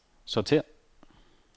sortér